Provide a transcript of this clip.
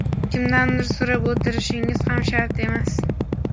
Kimdandir so‘rab o‘tirishingiz ham shart emas.